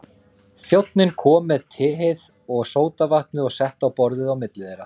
Þjónninn kom með teið og sódavatnið og setti á borðið á milli þeirra.